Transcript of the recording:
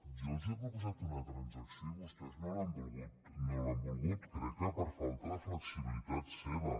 jo els he proposat una transacció i vostès no l’han volguda crec que per falta de flexibilitat seva